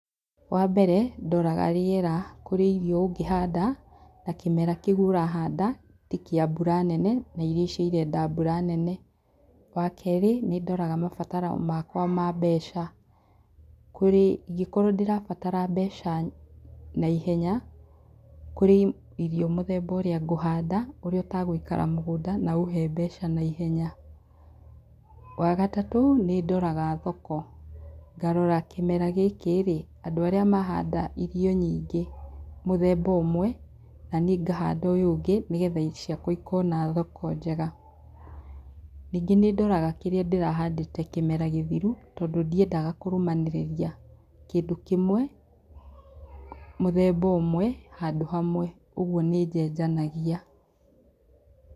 Wambere ndoraga rĩera, kũrĩ irio ũngĩhanda na kĩmera kĩu ũrahanda ti kĩa mbura nene na irio icio irenda mbura nene. Wakerĩ nĩndoraga mabataro makwa ma mbeca ingĩkorwo nĩndĩrabatara mbeca na ihenya kũrĩ irio mũthemba ũria ngũhanda ũrĩa ũtagũikara mũgũnda na ũhe mbeca na ihenya. Wagatatũ nĩ ndoraga thoko ngarora kĩmera gĩkĩrĩ, andũ arĩa mahanda irio nyingĩ mũthemba ũmwe nanĩ ngahanda ũyũ ũngĩ nĩgetha ciakwa ikona thoko njega. Ningĩ nĩndoraga kĩrĩa ndĩrahandĩte kĩmera gĩthiru tondũ ndiendaga kũrũmanĩrĩria kĩndũ kĩmwe, mũthemba ũmwe, handũ hamwe ũguo nĩnjenjanagia.